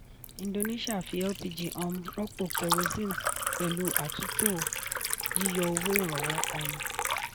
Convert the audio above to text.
indonesia fi lpg um rọ́pò kerosene pẹ̀lú àtúntò yíyọ owó ìrànwọ́. um